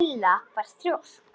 Lilla var þrjósk.